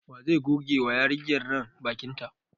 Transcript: Wa zai goge wa yarinyar nan bakin ta?